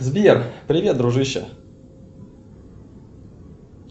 сбер привет дружище